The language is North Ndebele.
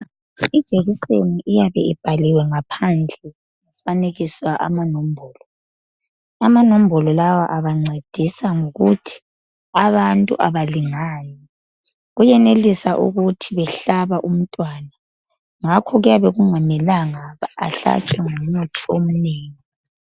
Ijekiseni iyabe ibhaliwe ngaphandle yafanekiswa amanombolo amanombolo lawa abancedisa ngokuthi abantu abalingani kuyenelisa ukuthi behlaba umntwana ngakho kuyabe kungamelanga ahlatshwe ngomuthi omnengi